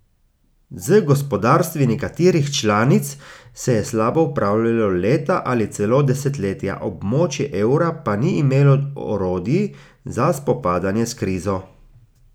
Z gospodarstvi nekaterih članic se je slabo upravljalo leta ali celo desetletja, območje evra pa ni imelo orodij za spopadanje s krizo.